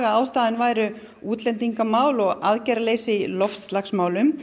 að ástæðurnar væru útlendingamál og aðgerðaleysi í loftslagsmálum